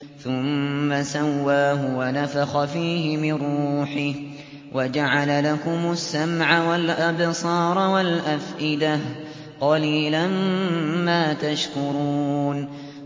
ثُمَّ سَوَّاهُ وَنَفَخَ فِيهِ مِن رُّوحِهِ ۖ وَجَعَلَ لَكُمُ السَّمْعَ وَالْأَبْصَارَ وَالْأَفْئِدَةَ ۚ قَلِيلًا مَّا تَشْكُرُونَ